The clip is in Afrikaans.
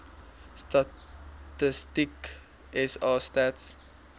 statistieke sa stats